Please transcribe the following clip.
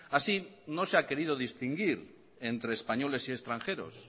así no se ha querido distinguir entre españoles y extranjeros